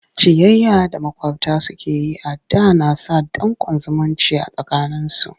Ciyayya da maƙwabta suke yi a da na sa danƙon zumunci a tsakaninsu.